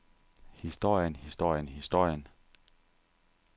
historien historien historien